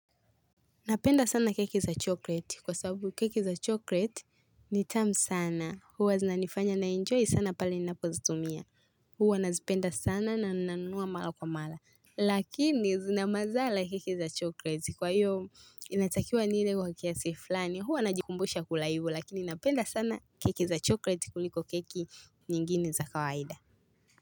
Napenda sana keki za chokreti kwa sababu keki za chokreti ni tam sana huwa zinanifanya naenjoy sana pale ninapozitumia huwa nazipenda sana na nanunua mala kwa mala Lakini zina mazala keki za chokreti kwa hiyo inatakiwa nile kwa kiasi fulani huwa najikumbusha kula hivu lakini napenda sana keki za chokreti kuliko keki nyingine za kawaida.